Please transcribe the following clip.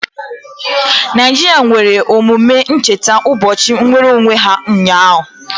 Naijiria mere emume ncheta ụbọchị nnwereonwe ha ụnyaahụ.